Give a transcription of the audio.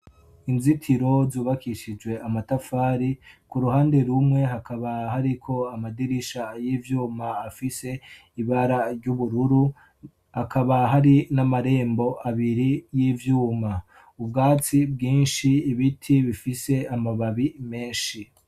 Inzitiro zubakishijwe amatafari ku ruhande rumwe hakaba hariko amadirisha y'ivyuma afise ibara ry'ubururu hakaba hari n'amarembo abiri y'ivyuma ubwatsi bwinshi ibiti bifise amababi menshi.